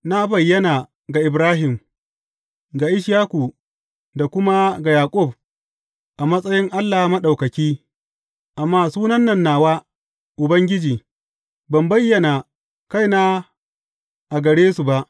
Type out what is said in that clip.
Na bayyana ga Ibrahim, ga Ishaku da kuma ga Yaƙub a matsayin Allah Maɗaukaki, amma sunan nan nawa Ubangiji, ban bayyana kaina a gare su ba.